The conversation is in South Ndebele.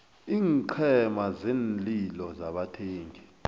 iinqhema zeenlilo zabathengi